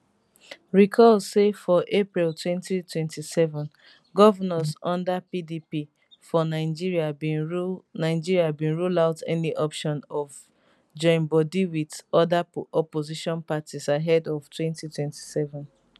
recall say forapril 2027 govnors under pdp for nigeriabin rule nigeriabin rule out any option of join bodi wit oda opposition parties ahead of 2027